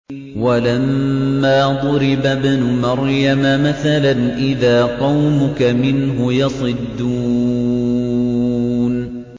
۞ وَلَمَّا ضُرِبَ ابْنُ مَرْيَمَ مَثَلًا إِذَا قَوْمُكَ مِنْهُ يَصِدُّونَ